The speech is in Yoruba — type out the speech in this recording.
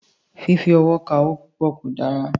Fífi ọwọ́ ka owó púpọ̀ kò rọrùn.